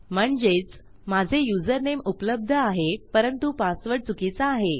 म्हणजेच माझे युजरनेम उपलब्ध आहे परंतु पासवर्ड चुकीचा आहे